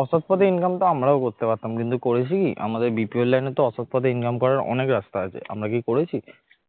অসৎ পথে income তো আমরাও করতে পারতাম কিন্তু করেছে কি আমাদের BPO র line এ তো অসৎ পথে income করার অনেক রাস্তা আছে আমরা কি করেছি